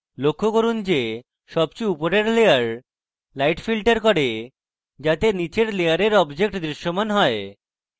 লক্ষ্য করুন যে সবচেয়ে উপরের layer light filters করে যাতে নীচের layer objects দৃশ্যমান হয়